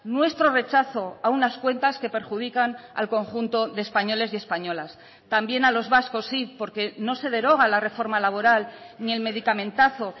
nuestro rechazo a unas cuentas que perjudican al conjunto de españoles y españolas también a los vascos sí porque no se deroga la reforma laboral ni el medicamentazo